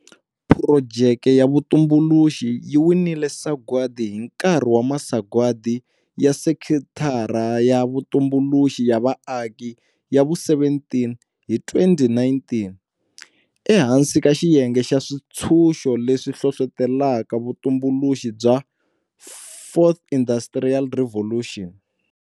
Phurojeke ya vutumbuluxi yi winile sagwadi hi nkarhi wa Masagwadi ya Sekithara ya Vutumbuluxi ya Vaaki ya vu17 hi 2019, ehansi ka xiyenge xa Swintshuxo leswi Hlohlotelaka Vutumbuluxi bya 4IR.